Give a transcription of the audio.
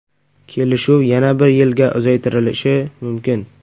Kelishuv yana bir yilga uzaytirilishi mumkin.